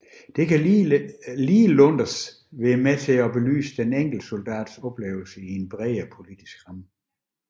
Det kan ligeledes være med til at belyse den enkelte soldats oplevelser i en bredere politisk ramme